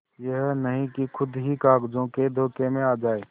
यह नहीं कि खुद ही कागजों के धोखे में आ जाए